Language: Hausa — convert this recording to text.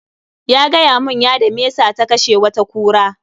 Ya gayamun yada mesa ta kashe wata kura